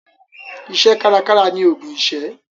Iṣẹ́ kárakára ni ògùn ìṣẹ́.